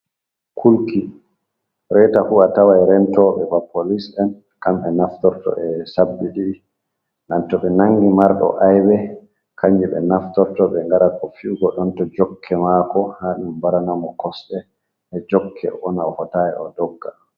Kulki reeta fu atawai rentoɓe ba polis en kamɓe naftirto e sabbi ɗi dan to ɓe nangi marɗo aibe kanjum ɓe naftirto ɓe ngara ko fi'go donto jokke mako ha ɗum mbaranamo kosɗe be jokke onana ofotai o ɗogga.